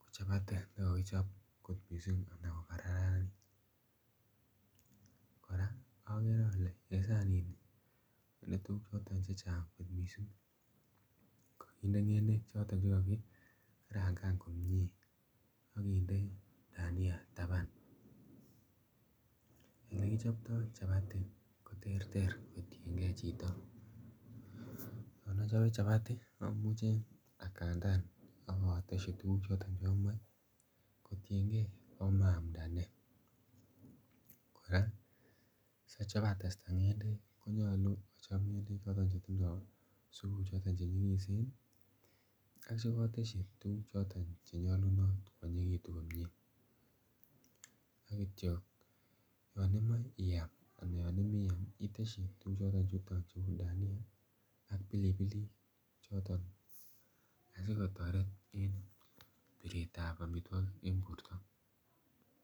ko chapati ne kokickob kot mising ana ko kararanit, koraa ogere ole en saninii ko kokichob tuguk chechang kot missing kokinde ng'endek choton che kakikarangan komie okinde dania taban. Ole kichobto chapati ko terter kotiengee chito, yon ochobe chapati omuche agandan ogotesyi tuguk choton chomoche kotienge komoi omamda nee, koraa sochob atesta ng'endek ko nyoluu ochob ng'endek choton che tindo supuu che nyigisen ak che kotesyi tuguk choton che nyolunot asi kwonyinyekitun komie. ak kityo yon imoi iam itesyi tuguk choton chu uu dania ak pilipilik choton asi kotoret en biret ab omitwokik en borto.